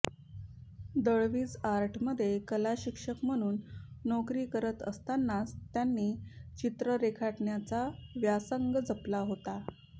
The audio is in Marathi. दळवीज् आर्टमध्ये कला शिक्षक म्हणून नोकरी करत असतानाच त्यांनी चित्र रेखाटण्याचा व्यासंग जपला होता